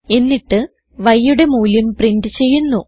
എന്നിട്ട് yയുടെ മൂല്യം പ്രിന്റ് ചെയ്യുന്നു